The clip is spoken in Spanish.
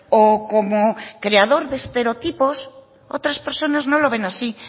o como creador de estereotipos otras personas no lo ven así